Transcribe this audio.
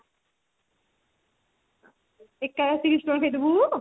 ଏକାଥରେ ତିରିଶି ଟଙ୍କାର ଖାଇ ଦେବୁ